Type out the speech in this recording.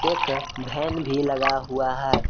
एक वैन भी लगा हुआ है।